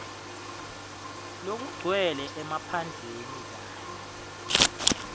lokugcwele emaphandleni kanye